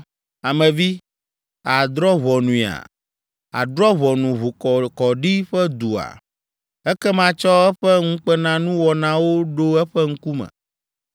“Ame vi, àdrɔ̃ ʋɔnuia? Àdrɔ ʋɔnu ʋukɔkɔɖi ƒe dua? Ekema tsɔ eƒe ŋukpenanuwɔnawo ɖo eƒe ŋkume,